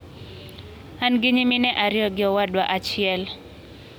"An gi nyimine ariyo gi owadwa achiel.